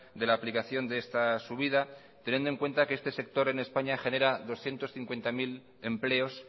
de la aplicación de esta subida teniendo en cuenta que este sector en españa genera doscientos cincuenta punto cero empleos